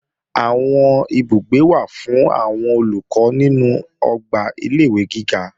Àwọn ibùgbé wà fún àwọn Olùkọ́ nínú ọgbà ilé-ìwé giga